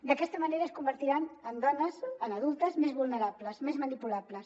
d’aquesta ma·nera es convertiran en dones en adultes més vulnerables més manipulables